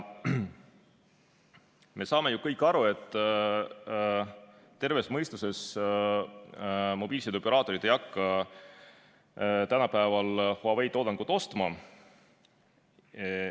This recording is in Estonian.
Me saame ju kõik aru, et tervemõistuslikud mobiilsideoperaatorid ei hakka tänapäeval Huawei toodangut ostma.